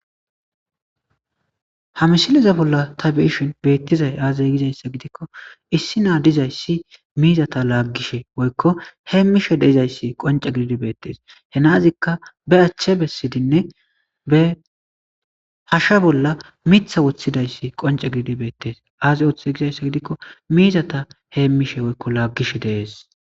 Ha misileza bolla ta be7ishin beettizay aaze gidikko issi nay dizayssi miizata laaggishe woykko heemmishe dizayssi qoncce gididi beettees. He na7azika be achche bessidinne be hashe bolla miththe woththidaysi qoncce gididi beettees. Aaze gidizaysa gidikko miizata heemmishe woykko laaggishe de7ees.